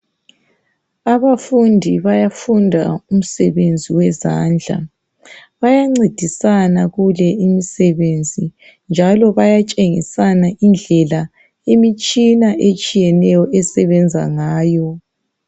Abafundi bayafunda umsebenzi wezandla, bayancedisana kule imisebenzi. Njalo bayatshengisana indlela imitshina etshiyeneyo esebenza ngayo.